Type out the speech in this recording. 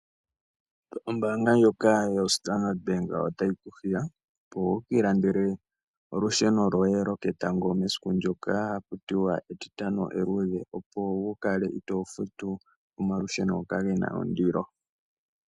Ombaanga ndjoka yoStandard Bank otayi ku hiya opo wu kiilandele olusheno lwoye lwoketango mesiku ndoka haku tiwa Etitano Eluudhe, opo waa kale to futu olusheno ndoka lu na ondilo.